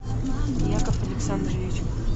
яков александрович